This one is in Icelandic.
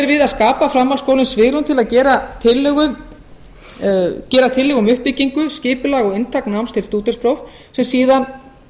að skapa framhaldsskólum svigrúm til að gera tillögur um uppbyggingu skipulag og inntak náms til stúdentspróf sem síðan